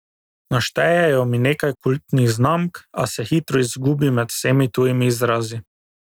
Naštejejo mi nekaj kultnih znamk, a se hitro izgubim med vsemi tujimi izrazi.